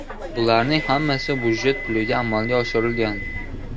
Bularning hammasi byudjet puliga amalga oshirilgan.